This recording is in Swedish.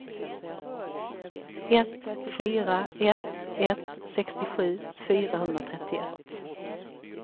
ett fyra ett ett sextiosju fyrahundratrettioett